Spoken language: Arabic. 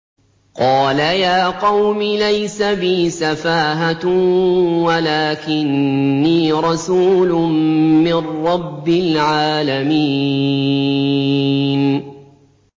قَالَ يَا قَوْمِ لَيْسَ بِي سَفَاهَةٌ وَلَٰكِنِّي رَسُولٌ مِّن رَّبِّ الْعَالَمِينَ